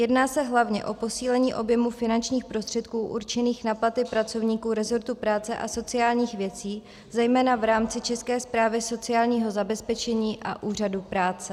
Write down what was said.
Jedná se hlavně o posílení objemu finančních prostředků určených na platy pracovníků rezortu práce a sociálních věcí zejména v rámci České správy sociálního zabezpečení a Úřadu práce.